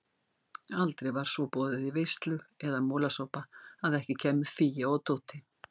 Aldrei var svo boðið í veislu eða molasopa að ekki kæmu Fía og Tóti.